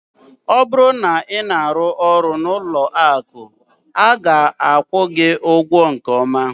Ọ bụrụ na ị na-arụ ọrụ n'ụlọ akụ, a ga-akwụ gị ụgwọ nke ọma.